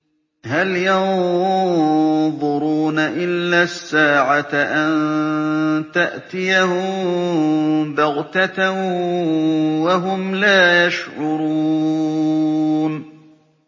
هَلْ يَنظُرُونَ إِلَّا السَّاعَةَ أَن تَأْتِيَهُم بَغْتَةً وَهُمْ لَا يَشْعُرُونَ